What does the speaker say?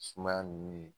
Sumaya ninnu ye